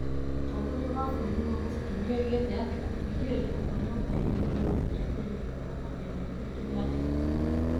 Mũtongoria wa bũrũri Magufuli nĩ oigĩte atĩ kũhingĩrio kwa nyũmba ĩyo nĩ gũgũteithĩrĩria kũrũgamia mĩgendere ya ndege bũrũri-inĩ.